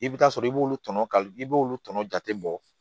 I bɛ taa sɔrɔ i b'olu tɔnɔ ka k'i b'olu kɔnɔ jate bɔ